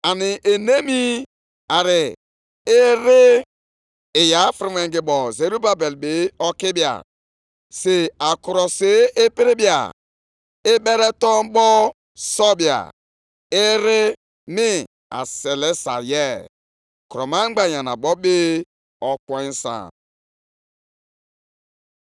“ ‘Nʼụbọchị ahụ,’ ka Onyenwe anyị, Onye pụrụ ime ihe niile na-ekwu, ‘Aga m ewere gị bụ onyeozi m Zerubabel nwa Shealtiel,’ ọ bụ ihe Onyenwe anyị kwuru, ‘mee gị ka ị dị ka mgbaaka akara m, nʼihi na ahọrọla m gị,’ Ọ bụ Onyenwe anyị, Onye pụrụ ime ihe niile na-ekwu.”